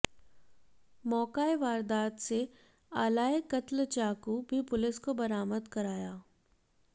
मौका ए वारदात से आला ए कत्ल चाकू भी पुलिस को बरामद कराया